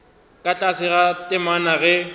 ka tlase ga temana ge